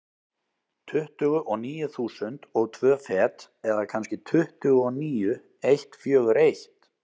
Tuttugu og níu þúsund og tvö fet, eða kannski tuttugu og níu eitt fjögur eitt.